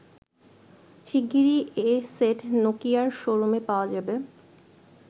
শিগগিরই এ সেট নোকিয়ার শো রুমে পাওয়া যাবে।